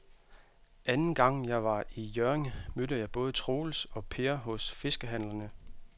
Anden gang jeg var i Hjørring, mødte jeg både Troels og Per hos fiskehandlerne.